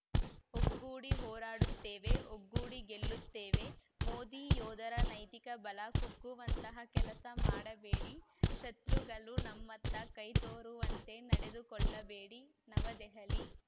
ಒಗ್ಗೂಡಿ ಹೋರಾಡುತ್ತೇವೆ ಒಗ್ಗೂಡಿ ಗೆಲ್ಲುತ್ತೇವೆ ಮೋದಿ ಯೋಧರ ನೈತಿಕ ಬಲ ಕುಗ್ಗುವಂತಹ ಕೆಲಸ ಮಾಡಬೇಡಿ ಶತ್ರುಗಳು ನಮ್ಮತ್ತ ಕೈ ತೋರುವಂತೆ ನಡೆದುಕೊಳ್ಳಬೇಡಿ ನವದೆಹಲಿ